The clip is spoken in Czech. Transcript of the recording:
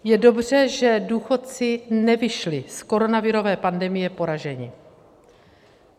Je dobře, že důchodci nevyšli z koronavirové pandemie poraženi.